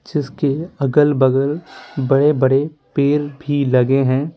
जिसके अगल-बगल बड़े-बड़े पेर भी लगे हैं।